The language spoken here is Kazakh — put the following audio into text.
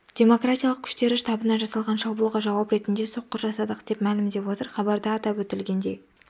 демократиялық күштері штабына жасалған шабуылға жауап ретінде соққы жасадық деп мәлімдеп отыр хабарда атап өтілгендей